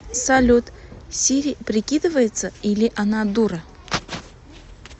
салют сири прикидывается или она дура